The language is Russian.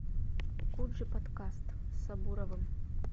куджи подкаст с сабуровым